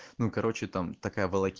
ну короче там такое